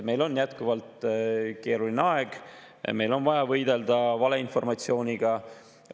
Meil on jätkuvalt keeruline aeg, meil on vaja võidelda valeinformatsiooniga.